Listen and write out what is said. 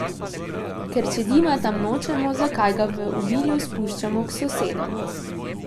Ker če dima tam nočemo, zakaj ga v obilju spuščamo k sosedom?